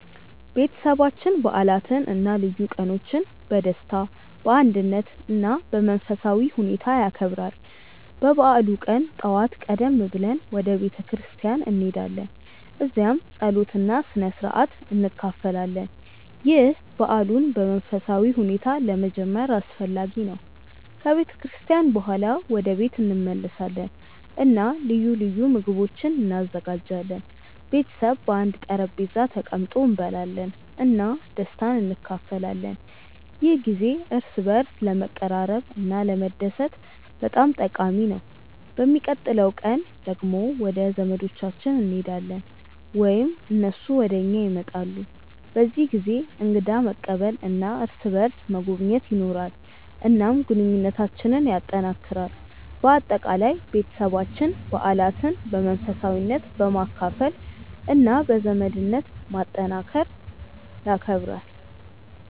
ቤተሰባችን በዓላትን እና ልዩ ቀኖችን በደስታ፣ በአንድነት እና በመንፈሳዊ ሁኔታ ያከብራል። በበዓሉ ቀን ጠዋት ቀደም ብለን ወደ ቤተ ክርስቲያን እንሄዳለን፣ እዚያም ጸሎት እና ስነ-ሥርዓት እንካፈላለን። ይህ በዓሉን በመንፈሳዊ ሁኔታ ለመጀመር አስፈላጊ ነው። ከቤተ ክርስቲያን በኋላ ወደ ቤት እንመለሳለን እና ልዩ ልዩ ምግቦች እንዘጋጃለን። ቤተሰብ በአንድ ጠረጴዛ ተቀምጦ እንበላለን እና ደስታን እንካፈላለን። ይህ ጊዜ እርስ በርስ ለመቀራረብ እና ለመደሰት በጣም ጠቃሚ ነው። በሚቀጥለው ቀን ደግሞ ወደ ዘመዶቻችን እንሄዳለን ወይም እነሱ ወደ እኛ ይመጣሉ። በዚህ ጊዜ እንግዳ መቀበል እና እርስ በርስ መጎብኘት ይኖራል፣ እናም ግንኙነታችንን ያጠናክራል። በአጠቃላይ፣ ቤተሰባችን በዓላትን በመንፈሳዊነት፣ በመካፈል እና በዘመድነት ማጠናከር ይከብራል።